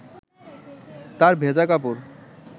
তাঁর ভেজা কাপড়